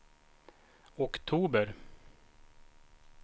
oktober